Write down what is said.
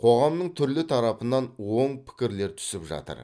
қоғамның түрлі тарапынан оң пікірлер түсіп жатыр